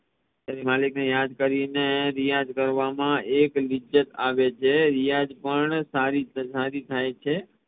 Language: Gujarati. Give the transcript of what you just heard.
ત્યારે મલિક ને યાદ કરીને રિયાજ કરવામાં એક લિજ્જત આવે છે રિયાજ પણ સારી થી સારી થઇ છે